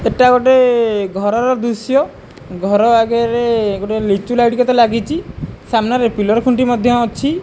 ଏଟା ଗୋଟେ ଘରର ଦୃଶ୍ୟ ଘର ଆଗରେ ଗୋଟେ ଲିଚୁ ଲାଇଟ୍ କେତେ ଲାଗିଛି ସାମ୍ନାରେ ପିଲର୍ ଖୁଣ୍ଟି ମଧ୍ୟ ଅଛି।